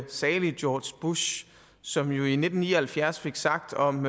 salige george bush som jo i nitten ni og halvfjerds fik sagt om